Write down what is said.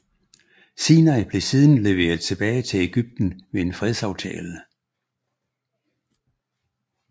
Sinai blev siden leveret tilbage til Egypten ved en fredsaftale